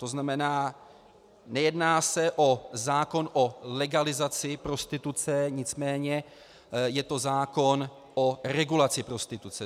To znamená, nejedná se o zákon o legalizaci prostituce, nicméně je to zákon o regulaci prostituce.